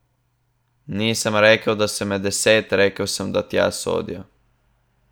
Nisem rekel, da so med deset, rekel sem, da tja sodijo.